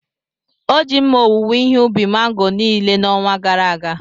O ji mma owuwe ihe ubi mango niile n’ọnwa gara aga.